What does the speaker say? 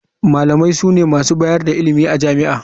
Malamai sune masu bayar da ilimi a jami'a.